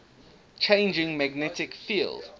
changing magnetic field